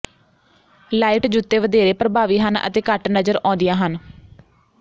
light ਜੁੱਤੇ ਵਧੇਰੇ ਪਰਭਾਵੀ ਹਨ ਅਤੇ ਘੱਟ ਨਜ਼ਰ ਆਉਂਦੀਆਂ ਹਨ